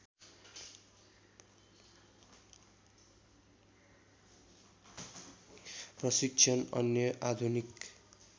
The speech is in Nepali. प्रशिक्षण अन्य आधुनिक